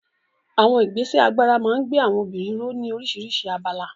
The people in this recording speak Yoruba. Àwọn ìgbésẹ̀ agbára máa ń gbé àwọn obìnrin ró ní oríṣiríṣi abala.